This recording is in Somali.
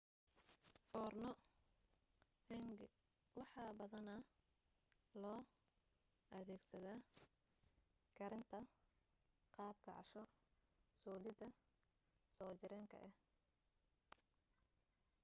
foorno hangi waxaa badanaa loo adeegsadaa karinta qaab casho soolidda soo jireenka ah